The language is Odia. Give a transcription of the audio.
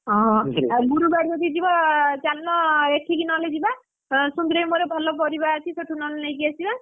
ହଁ ଆଉ ଗୁରୁବାର ଯଦି ଯିବ ଚାଲୁନ ଏଠିକି ନହଲେ ଯିବା ସୁମିରବାରେ ଭଲ ପରିବା ଅଛି ସେଠୁ ନହଲେ ନେଇକି ଆସିଆ।